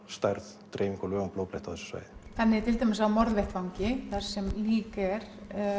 stærð dreyfingu og lögun blóðbletta á þessu svæði þannig að til dæmis á morðvettvangi þar sem lík er